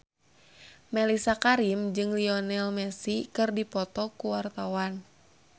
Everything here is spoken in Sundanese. Mellisa Karim jeung Lionel Messi keur dipoto ku wartawan